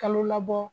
Kalo labɔ